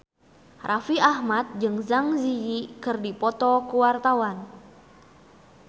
Raffi Ahmad jeung Zang Zi Yi keur dipoto ku wartawan